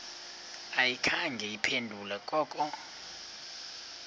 ayikhange iphendule koko